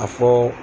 A fɔ